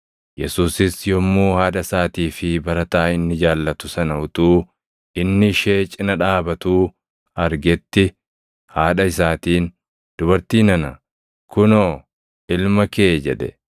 Yesuusis yommuu haadha isaatii fi barataa inni jaallatu sana utuu inni ishee cina dhaabatuu argetti haadha isaatiin, “Dubartii nana! Kunoo, ilma kee” jedhe.